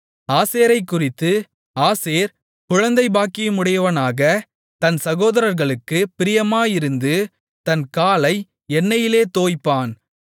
ஆசேரைக்குறித்து ஆசேர் குழந்தை பாக்கியமுடையவனாக தன் சகோதரர்களுக்குப் பிரியமாயிருந்து தன் காலை எண்ணெயிலே தோய்ப்பான்